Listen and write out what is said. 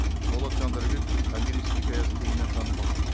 болат жандарбековтың томирис хикаясы кеңінен танымал